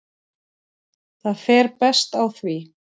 Það fer best á því.